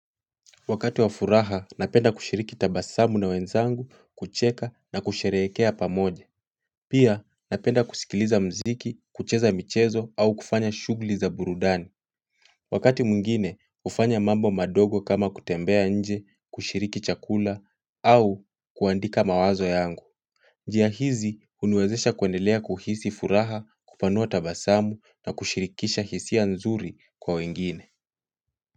Wakati wa furaha, napenda kushiriki tabasamu na wenzangu, kucheka na kusherekea pamoje. Pia, napenda kusikiliza mziki, kucheza michezo au kufanya shughuli za burudani. Wakati mwingine, ufanya mambo madogo kama kutembea nje, kushiriki chakula au kuandika mawazo yangu. Njia hizi, unuezesha kuendelea kuhisi furaha, kupanua tabasamu na kushirikisha hisi ya nzuri kwa wengine.